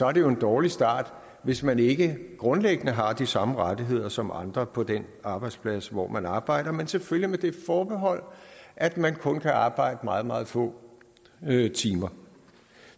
er jo en dårlig start hvis man ikke grundlæggende har de samme rettigheder som andre på den arbejdsplads hvor man arbejder men selvfølgelig med det forbehold at man kun kan arbejde meget meget få timer